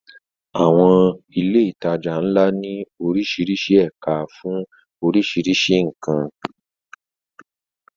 Àwọn ilé ìtajà ńlá ní oríṣiríṣi ẹ̀ka fún oríṣiríṣi nǹkan.